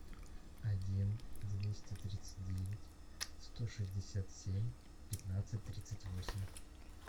один двести тридцать девять сто шестьдесят семь пятнадцать тридцать восемь